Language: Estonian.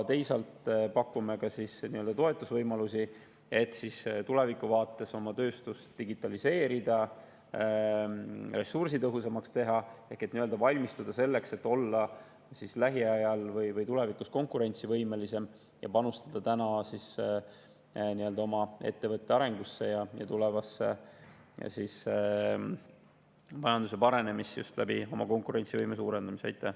Teisalt pakume ka toetusvõimalusi, et tulevikuvaates oma tööstust digitaliseerida ja ressursitõhusamaks teha ehk nii-öelda valmistuda selleks, et olla lähiajal või tulevikus konkurentsivõimelisem, panustada oma ettevõtete arengusse ja tulevasse majanduse paranemisse just konkurentsivõime suurendamise kaudu.